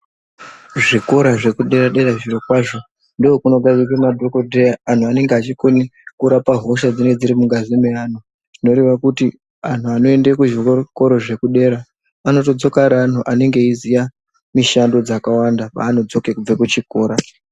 Zvikora zvekudera dera zvirokwazvo ndokunodavidzwe madhogodheya anhu anenge achikone kurape hosha dzinenge dzirimungazi mevanhu, zvinoreve kuti anhu anoende zvikoro zvekudera anotodzoka ari anhu anenge eyiziva mishando dzakawanda paanodzoke kubva kuchikora.